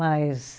Mas...